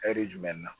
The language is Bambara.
jumɛn na